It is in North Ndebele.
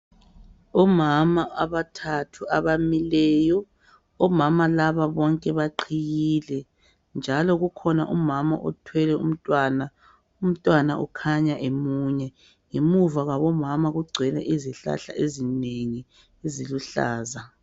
Omama abathathu abamileyo omama laba bonke baqhiyile njalo kukhona umama uthwele umntwana , umntwana okhanya emunya. Ngemuva kwabo mama kugcwele izihlahla izinengi eziluhlaza.